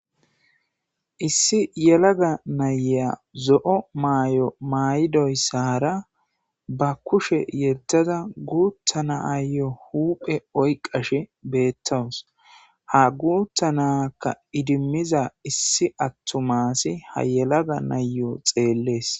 issi yelaga nayeya zo7o maay7o may7idoyssara ba kushe yeddada guuttanaaayo huuphe oyqashe beettowus ha guuttanakka idimmiza issi attumaasi ha yelaga nayyo xeellees